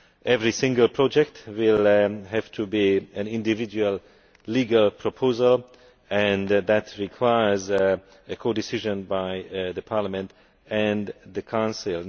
Every single project will have to be an individual legal proposal and that requires a codecision by the Parliament and the Council.